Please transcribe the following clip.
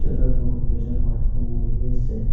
তাত বহুত কেইজন মানুহ বহি আছে।